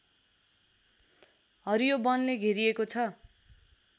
हरियो वनले घेरिएको छ